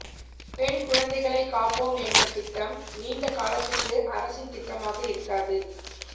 பெண் குழந்தைகளை காப்போம் என்ற திட்டம் நீண்ட காலத்துக்கு அரசின் திட்டமாக இருக்காது